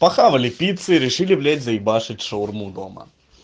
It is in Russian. пахавали пиццы решили блять заебашить шаурму дома